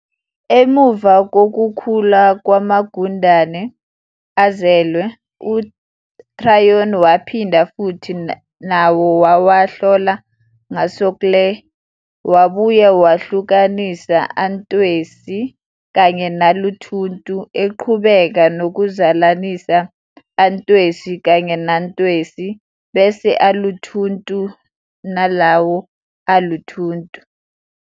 Emuva kokukhula kwamagundane azelwe, uTryon waphinda futhi nawo wawahlola ngosogkle, wabuye wahlukanisa "antwesi" kanye "naluthuntu", eqhubeka nokuzalanisa "antwesi" kanye "nantwesi" bese "aluthuntu" nalawo "aluthuntu".